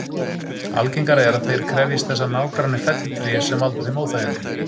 Algengara er að þeir krefjist þess að nágranni felli tré sem valda þeim óþægindum.